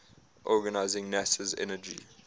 organizing nasa's energy